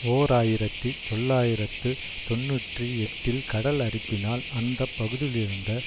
ஓர் ஆயிரத்தி தொள்ளாயிரத்து தொன்னூற்றி எட்டில் கடல் அரிப்பினால் அந்த பகுதியிலிருந்த